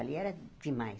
Ali era demais.